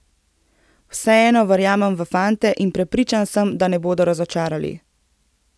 Vseeno verjamem v fante in prepričan sem, da ne bodo razočarali.